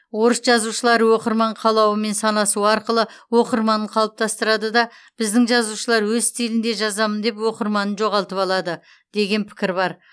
орыс жазушылары оқырман қалауымен санасу арқылы оқырманын қалыптастырды да біздің жазушылар өз стилінде жазамын деп оқырманын жоғалтып алды деген пікір бар